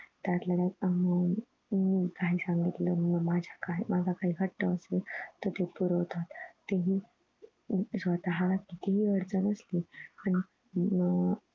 त्यातल्या त्यात आम्ही हम्म काही सांगितलं मग माझं काही माझा काही हट्ट असेल तर तो पुरवतात तेही स्वतःला कितीही अडचण असली आणि हम्म